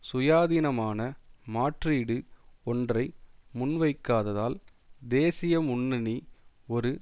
சுயாதீனமான மாற்றீடு ஒன்றை முன்வைக்காததால் தேசிய முன்னணி ஒரு